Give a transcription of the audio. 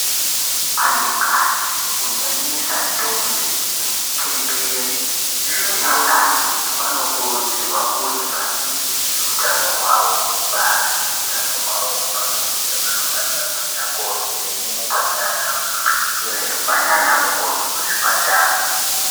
Antukadzi kunyanyisa ntombi, chambered neakadzi vanokurudzirwa kuti vachengetedze utano hwavo hwekubara nehutano hwavo hwepabonde. Vanofanirwa kuenda kwovhenekwa ndiana chiremba nana mukoti kuzvipatara.